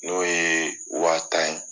N'o ye waa tan ye